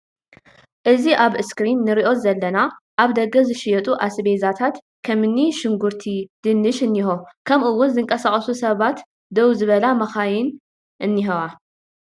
እዚ ኣብ እስክሪን ንሪኦ ዘለና ኣብ ደገ ዝሽየጡ ኣስቤዛታት ከምኒ ሽጉርቲ ድንሽ እንሂዎ ከሙኡ እውን ዝንቀሳቀሱ ሰባትን ደው ዝበላ መካይንን እኒሀዋ።